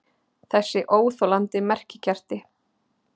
Þessi óþolandi merkikerti!